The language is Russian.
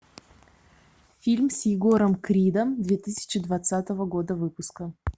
фильм с егором кридом две тысячи двадцатого года выпуска